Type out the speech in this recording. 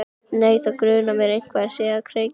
Nei, þá grunar að eitthvað sé á kreiki.